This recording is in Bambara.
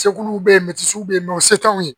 Segu bɛ ye bɛ yen nɔ o se t'anw ye